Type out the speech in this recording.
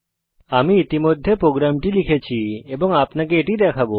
আমি ইতিমধ্যে প্রোগ্রামটি লিখেছি এবং আপনাকে এটি দেখাবো